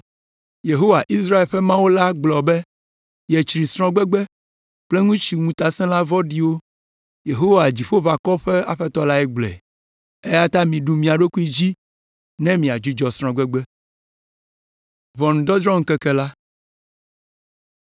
“Yehowa, Israel ƒe Mawu la gblɔ be yetsri srɔ̃gbegbe kple ŋutsu ŋutasẽla vɔ̃ɖiwo. Yehowa, Dziƒoʋakɔwo ƒe Aƒetɔ lae gblɔe.” Eya ta miɖu mia ɖokuiwo dzi ne miadzudzɔ srɔ̃gbegbe.